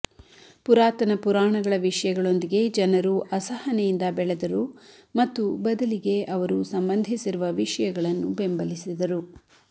ಪುರಾತನ ಪುರಾಣಗಳ ವಿಷಯಗಳೊಂದಿಗೆ ಜನರು ಅಸಹನೆಯಿಂದ ಬೆಳೆದರು ಮತ್ತು ಬದಲಿಗೆ ಅವರು ಸಂಬಂಧಿಸಿರುವ ವಿಷಯಗಳನ್ನು ಬೆಂಬಲಿಸಿದರು